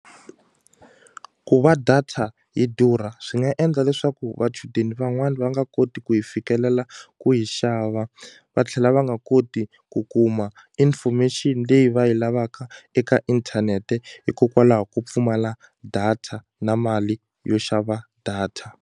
Ku va data yi durha swi nga endla leswaku vachudeni van'wani va nga koti ku yi fikelela ku yi xava va tlhela va nga koti ku kuma information leyi va yi lavaka eka inthanete hikokwalaho ko pfumala data na mali yo xava data.